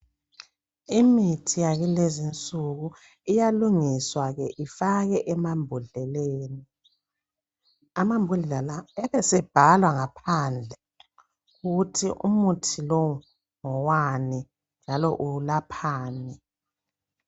Imithi yakulezinsuku iyalungiswa ifake emabhodleleni, amambodlela lawa abesebhalwa ngaphandle ukuthi umuthi lo ngowani njalo ulaphani .